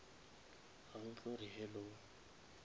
ga o tlo re hello